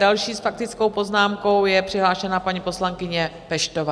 Další s faktickou poznámkou je přihlášena paní poslankyně Peštová.